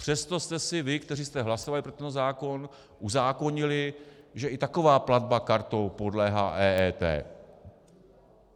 Přesto jste si vy, kteří jste hlasovali pro tento zákon, uzákonili, že i taková platba kartou podléhá EET.